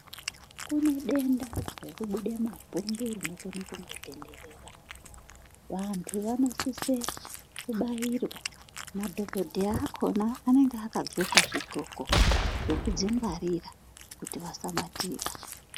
Kunedenda rekubude mapundu rinokone kungotenderera, vantu vanosise kubairwa. Madhogodheya vakhona vanenge vakadhloka zvidhloko zvekudzingwarira kuti vasabatira.